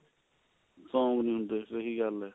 song ਨੀ ਹੁੰਦੇ ਸਹੀ ਗੱਲ ਹੈ